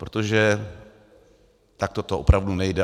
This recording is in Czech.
Protože takto to opravdu nejde.